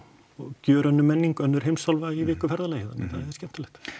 gjörólík menning önnur heimsálfa í viku ferðalagi þannig að það er skemmtilegt